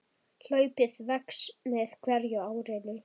Hlaupið vex með hverju árinu.